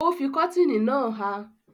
Ó fi kọ́tìnì náà há.